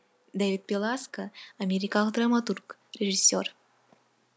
дэвид беласко америкалық драматург режиссер